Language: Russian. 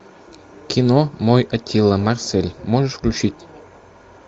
кино мой аттила марсель можешь включить